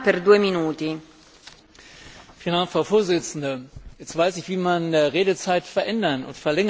Frau Präsidentin! Jetzt weiß ich, wie man Redezeit verändern und verlängern kann.